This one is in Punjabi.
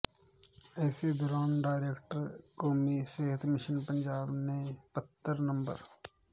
ਇਸੇ ਦੌਰਾਨ ਡਾਇਰੈਕਟਰ ਕੌਮੀ ਸਿਹਤ ਮਿਸ਼ਨ ਪੰਜਾਬ ਨੇ ਪੱਤਰ ਨੰ